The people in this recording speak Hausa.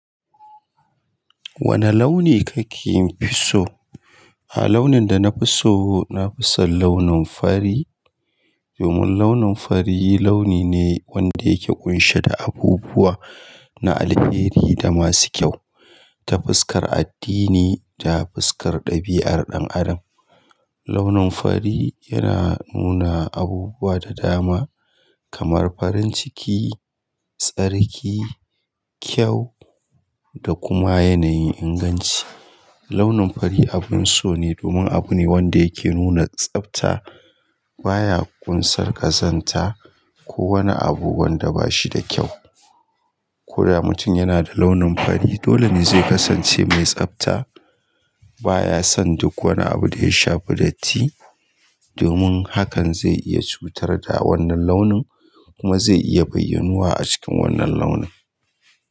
Wane launi kake fi so? A launin da na fi so, na fi son launin fari. Domin launin fari launi ne wanda yake ƙunshe da abubuwa na alheri da masu kyau, ta fuskar addini da fuskar ɗabi'ar ɗan adam. Launin fari yana nuna abubuwa da dama kamar farin ciki, tsarki, kyau da kuma yanayin inganci. Launin fari abin so ne domin abu ne wanda yake nuna tsabta. Ba ya ƙunsar ƙazanta ko wani abu wanda ba shi da kyau. Ko da mutum yana da launin fari, dole ne zai kasance mai tsabta. Ba ya son duk wani abu da ya shafi datti. Domin hakan zai iya cutar da wannan launin kuma zai iya bayyanuwa a cikin wannan launin.